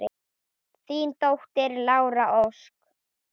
Þín dóttir, Lára Ósk.